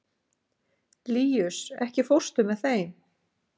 Líus, ekki fórstu með þeim?